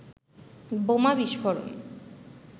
বোমা বিস্ফোরণে